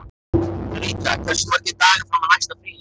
Ríta, hversu margir dagar fram að næsta fríi?